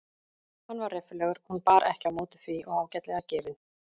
Hann var reffilegur hún bar ekki á móti því og ágætlega gefinn.